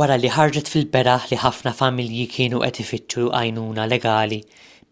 wara li ħarġet fil-beraħ li ħafna familji kienu qed ifittxu għajnuna legali